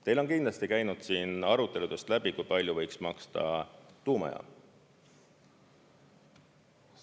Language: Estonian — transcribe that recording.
Teil on kindlasti käinud aruteludest läbi, kui palju võiks maksta tuumajaam.